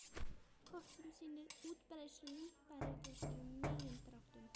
Kort sem sýnir útbreiðslu líparíts í megindráttum.